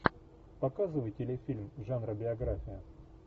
показывай телефильм жанра биография